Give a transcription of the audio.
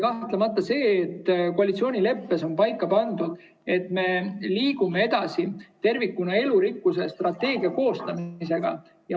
Kahtlemata, koalitsioonileppes on paika pandud, et me liigume edasi elurikkuse strateegia koostamisega tervikuna.